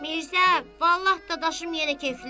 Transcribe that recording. Mirzə, Vallah Dadaşım yenə keyflidir.